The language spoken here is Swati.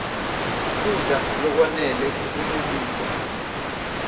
kudla lokwanele kunemphilo